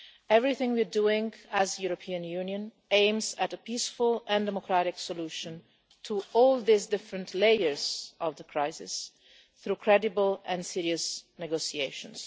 Everything we are doing as the European Union aims at a peaceful and democratic solution to all these different layers of the crisis, through credible and serious negotiations.